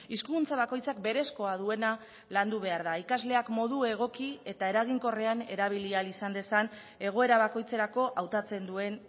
hizkuntza bakoitzak berezkoa duena landu behar da ikasleak modu egoki eta eraginkorrean erabili ahal izan dezan egoera bakoitzerako hautatzen duen